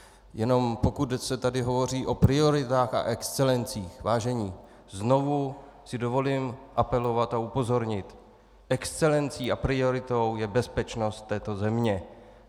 Jenom pokud se tady hovoří o prioritách a excelencích, vážení, znovu si dovolím apelovat a upozornit - excelencí a prioritou je bezpečnost této země.